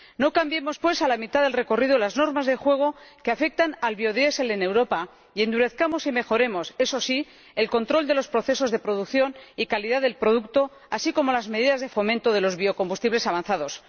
No cambiemos pues a la mitad del recorrido las normas del juego que afectan al biodiesel en Europa y endurezcamos y mejoremos —eso sí— el control de los procesos de producción y calidad del producto, así como las medidas de fomento de los biocombustibles avanzados.